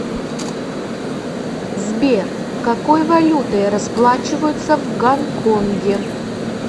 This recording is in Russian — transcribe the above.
сбер какой валютой расплачиваются в гонконге